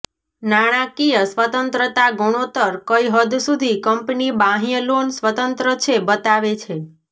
નાણાકીય સ્વતંત્રતા ગુણોત્તર કઈ હદ સુધી કંપની બાહ્ય લોન સ્વતંત્ર છે બતાવે છે